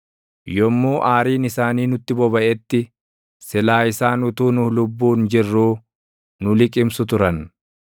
yommuu aariin isaanii nutti bobaʼetti, silaa isaan utuu nu lubbuun jirruu nu liqimsu turan;